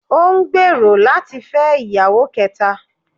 Ó n gbèèrò láti fẹ́ ìyàwó kẹta